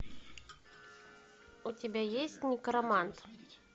у тебя есть некромант